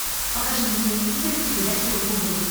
покажи на телевизоре передачу рубль